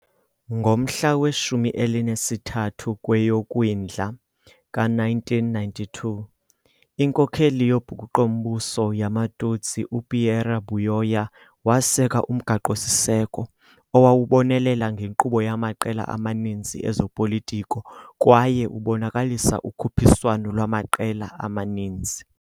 Ngomhla we-13 kweyoKwindla ka-1992, inkokeli yobhukuqo-mbuso yamaTutsi uPierre Buyoya waseka umgaqo-siseko, owawubonelela ngenkqubo yamaqela amaninzi ezopolitiko kwaye ubonakalisa ukhuphiswano lwamaqela amaninzi.